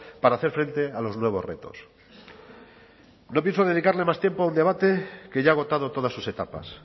para hacer frente a los nuevos retos no pienso dedicarle más tiempo a un debate que ya ha agotado todas sus etapas